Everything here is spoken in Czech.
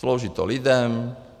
Slouží to lidem.